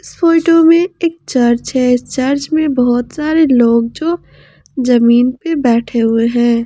इस फोटो में एक चर्च है चर्च में बहुत सारे लोग जो जमीन पर बैठे हुए हैं।